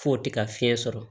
F'o tɛ ka fiɲɛ sɔrɔ